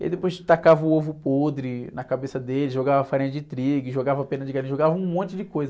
E aí depois tacava o ovo podre na cabeça dele, jogava farinha de trigo, jogava pena de galinha, jogava um monte de coisa.